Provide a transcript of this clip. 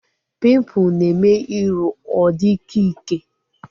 Pimpụl na-eme iru ọ dị ịkẹ́ ịkẹ́